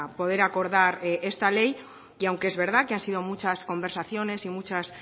poder acordar esta ley que aunque es verdad que han sido muchas conversaciones y muchas